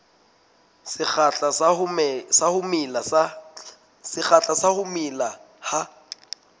sekgahla sa ho mela ha